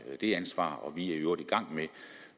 det ansvar og vi er i øvrigt i gang med